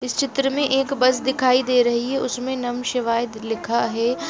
इस चित्र में एक बस दिखाई दे रही है उसमें नम: शिवाय लिखा है ।